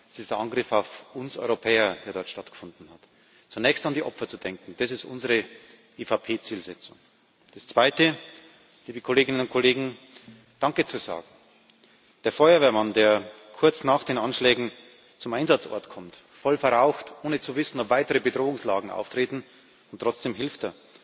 Das ist ein Angriff auf uns Europäer, der dort stattgefunden hat. Zunächst an die Opfer zu denken, das ist unsere EVP Zielsetzung. Das Zweite, liebe Kolleginnen und Kollegen, ist, danke zu sagen dem Feuerwehrmann, der kurz nach den Anschlägen zum Einsatzort kommt, voll verraucht, ohne zu wissen, ob weitere Bedrohungslagen auftreten, und trotzdem hilft,